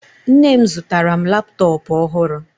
Nne m zụtara m laptọọpụ ọhụrụ